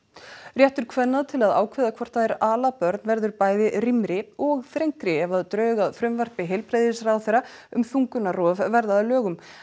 réttur kvenna til að ákveða hvort þær ala börn verður bæði rýmri og þrengri ef drög að frumvarpi heilbrigðisráðherra um þungunarrof verða að lögum